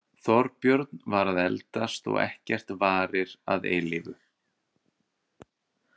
Þorbjörn var að eldast og ekkert varir að eilífu.